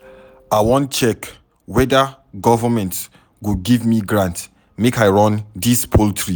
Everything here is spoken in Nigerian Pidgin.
I wan check weda government go give me grant make I run dis poultry.